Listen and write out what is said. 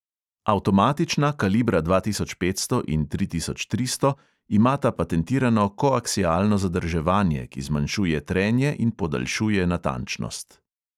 Avtomatična kalibra dva tisoč petsto in tri tisoč tristo imata patentirano koaksialno zadrževanje, ki zmanjšuje trenje in podaljšuje natančnost.